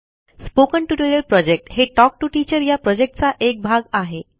spoken tutorial project हे talk to teacher या प्रॉजेक्टचा एक भाग आहे